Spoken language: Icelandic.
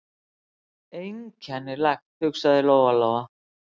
Einkennilegt, hugsaði Lóa-Lóa.